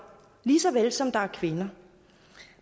lige så vel som der er kvinder